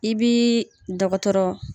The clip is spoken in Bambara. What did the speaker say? I b'i i dɔgɔtɔrɔ.